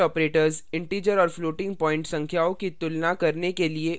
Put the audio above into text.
relational operators integer और floating point संख्याओं की तुलना करने के लिए उपयोग किए जाते हैं